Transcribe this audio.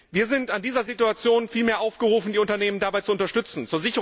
Wir sind in dieser Situation vielmehr aufgerufen, die Unternehmen dabei zu unterstützen.